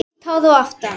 Sítt hár að aftan.